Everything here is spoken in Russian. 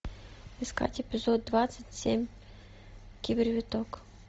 искать эпизод двадцать семь кибервиток